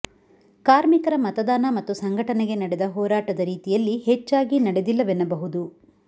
ಕಾರ್ಮಿಕರ ಮತದಾನ ಮತ್ತು ಸಂಘಟನೆಗೆ ನಡೆದ ಹೋರಾಟದ ರೀತಿಯಲ್ಲಿ ಹೆಚ್ಚಾಗಿ ನಡೆದಿಲ್ಲವೆನ್ನಬಹುದು